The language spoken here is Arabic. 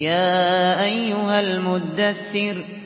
يَا أَيُّهَا الْمُدَّثِّرُ